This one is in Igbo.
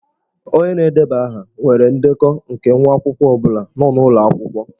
Onye na-edeba aha nwere ndekọ nke nwa akwụkwọ ọ bụla nọ n'ụlọ akwụkwọ.